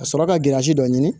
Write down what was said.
Ka sɔrɔ ka girasi dɔ ɲini